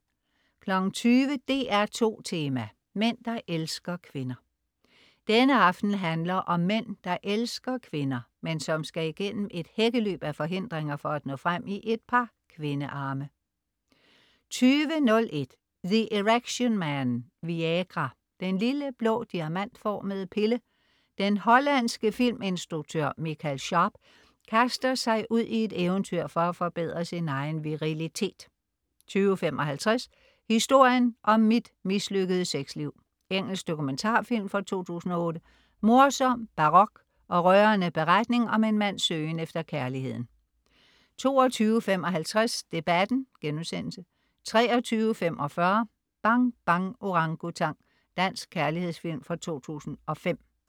20.00 DR2 Tema: Mænd der elsker kvinder. Denne aften handler om mænd der elsker kvinder, men som skal igennem et hækkeløb af forhindringer for at nå frem i et par kvindearme 20.01 The Erectionman. Viagra. Den lille blå diamantformede pille. Den hollandske filminstruktør Michael Scaarp kaster sig ud i et eventyr for at forbedre sin egen virilitet 20.55 Historien om mit mislykkede sexliv. Engelsk dokumentarfilm fra 2008. Morsom, barok og rørende beretning om en mands søgen efter kærligheden 22.55 Debatten* 23.45 Bang Bang Orangutang. Dansk kærlighedsfilm fra 2005